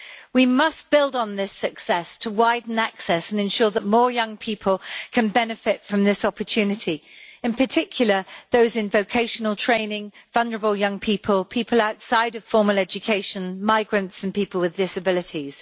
We must build on this success to widen access and ensure that more young people can benefit from this opportunity, in particular those in vocational training, vulnerable young people, people outside of formal education, migrants and people with disabilities.